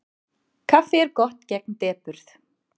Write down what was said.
Kaffi er gott gegn depurð.